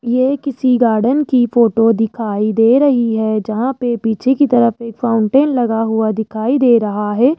यह किसी गार्डन की फोटो दिखाई दे रही है जहां पे पीछे की तरफ एक फाउंटेन लगा हुआ दिखाई दे रहा है।